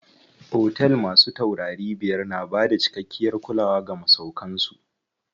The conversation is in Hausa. Otel masu taurari biyar na bada cikakkiyar kulawa ga masauƙan su.